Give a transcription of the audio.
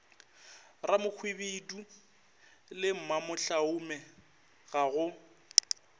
ramohwibidu le mamohlaume ga go